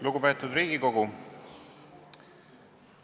Lugupeetud Riigikogu!